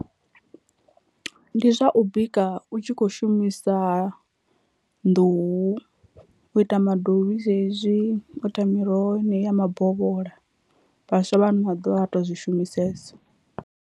Ndi zwa u bika u tshi kho shumisa nḓuhu u ita madovhi zwezwi, u ita miroho yeneyi ya mabovhola vhaswa vha ano maḓuvha a vha to zwi shumisesa.